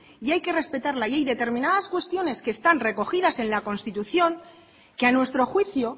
y hay que respetarla y hay determinadas cuestiones que están recogidas en la constitución que a nuestro juicio